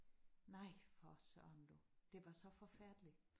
Nej for Søren du det var så forfærdeligt